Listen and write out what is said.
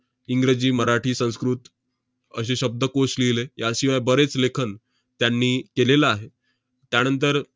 इंग्रजी, मराठी, संस्कृत असे शब्दकोश लिहिले. याशिवाय बरेच लेखन त्यांनी केलेलं आहे. त्यानंतर